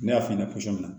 Ne y'a f'i ɲɛna cogo min